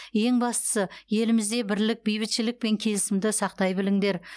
ең бастысы елімізде бірлік бейбітшілік пен келісімді сақтай біліңдер